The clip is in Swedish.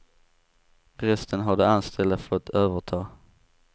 Resten har de anställda fått överta.